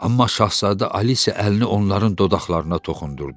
Amma şahzadə Alise əlini onların dodaqlarına toxundurdu.